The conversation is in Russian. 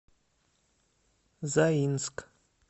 заинск